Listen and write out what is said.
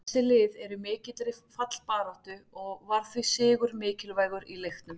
Þessi lið eru í mikilli fallbaráttu og var því sigur mikilvægur í leiknum.